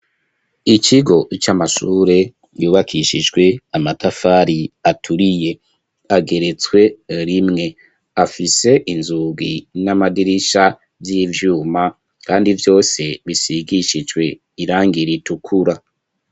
Ikigo c'amashure yubakishijwe amatafari aturiye ageretswe rimwe afise inzugi n'amadirisha vy'ivyuma kandi vyose bisigishijwe irangira itukura.